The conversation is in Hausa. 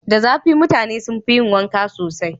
Da zafi mutane sun fi yi wanka sosai.